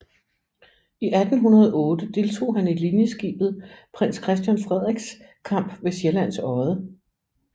I 1808 deltog han i linjeskibet Prins Christian Frederiks kamp ved Sjællands Odde